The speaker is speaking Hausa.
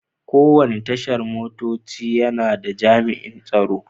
Kowane Tashar motoci yana da jami'an tsaro.